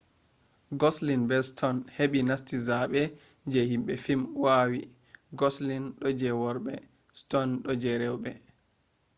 goslin be ston heɓi nasti zaaɓe je himɓe fim wawi goslin ɗo je worɓe ston ɗo je rewɓe